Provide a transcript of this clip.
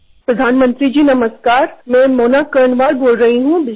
माननीय पंतप्रधान नमस्कार मी बिजनोरहून मोना कर्णवाल बोलत आहे